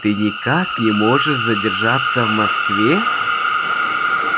ты никак не можешь задержаться в москве